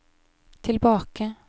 tilbake